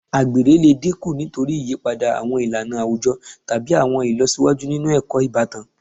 Àgbèrè lè dínkù nítorí ìyípadà àwọn ìlànà àwùjọ tàbí àwọn ìlọsíwájú nínú ẹ̀kọ́ ìbátan